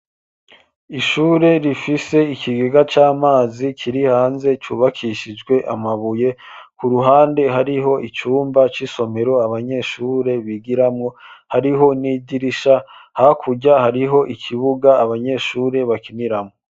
Ishure rifise ikigega c'amazi kiri hanze cubakishijwe amabuye, ku ruhande hariho icumba c'isomero abanyeshure bigiramwo, hariho n'idirisha, hakurya hariho ikibuga abanyeshure bakiniramwo.